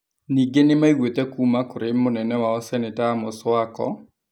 Ningĩ nĩ maiguĩte kuuma kũrĩ mũnene wao Seneta Amos Wako,